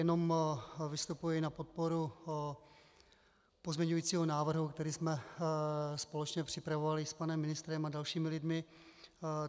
Jenom vystupuji na podporu pozměňujícího návrhu, který jsme společně připravovali s panem ministrem a dalšími lidmi.